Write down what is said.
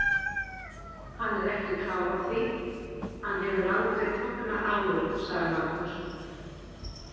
Hann er ekki klár á því, hann hefur aldrei tognað áður, sagði Magnús.